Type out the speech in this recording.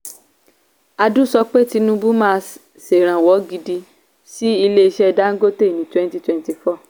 adu sọ pé tinubu máa sèrànwọ́ gidi sí ilé-iṣẹ́ dangote ní twenty twenty-four